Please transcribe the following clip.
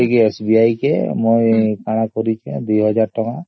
ସେଥିପାଇ SBI ରେ ୨୦୦୦ ଟଙ୍କା ରଖିଦେଇଛୁ